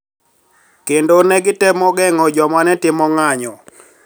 Kendo ne gitemo geng`o joma ne timo ng`anyo